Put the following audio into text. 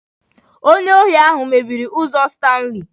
Onye ohi ahụ mebiri ụzọ Stanley.